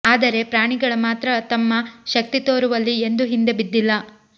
ಆದರೆ ಪ್ರಾಣಿಗಳ ಮಾತ್ರ ತಮ್ಮ ಶಕ್ತಿ ತೋರುವಲ್ಲಿ ಎಂದೂ ಹಿಂದೆ ಬಿದ್ದಿಲ್ಲ